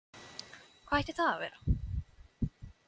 Hvað ætti það að vera?